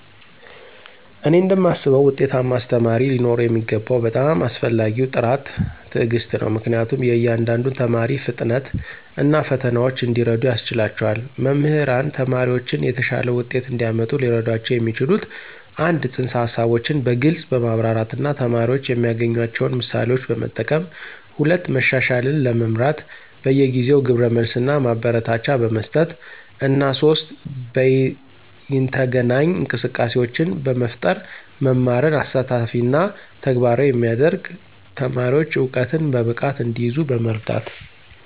እኔ እንደማስበው ውጤታማ አስተማሪ ሊኖረው የሚገባው በጣም አስፈላጊው ጥራት ትዕግስት ነው, ምክንያቱም የእያንዳንዱን ተማሪ ፍጥነት እና ፈተናዎች እንዲረዱ ያስችላቸዋል. መምህራን ተማሪዎችን የተሻለ ውጤት እንዲያመጡ ሊረዷቸው የሚችሉት - 1) ፅንሰ-ሀሳቦችን በግልፅ በማብራራት እና ተማሪዎች የሚያገናኟቸውን ምሳሌዎችን በመጠቀም፣ 2) መሻሻልን ለመምራት በየጊዜው ግብረ መልስ እና ማበረታቻ በመስጠት፣ እና 3) በይነተገናኝ እንቅስቃሴዎችን በመፍጠር መማርን አሳታፊ እና ተግባራዊ የሚያደርግ፣ ተማሪዎች እውቀትን በብቃት እንዲይዙ በመርዳት።